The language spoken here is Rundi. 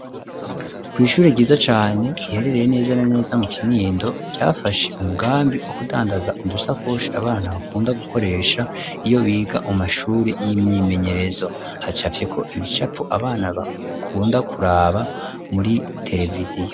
kw'ishuri ryiza cane riherereye neza na neza mu Kinindo ryafashe umugambi wo kudandaza udusakoshi abana bakunda gukoresha iyo biga mu mashuri y'imyimenyerezo hacafyeko ibicapo abana bakunda kuraba muri televiziyo.